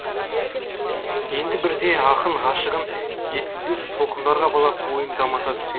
енді бірде ақын ғашығын жеткізбес толқындарға балап ойын дамыта түседі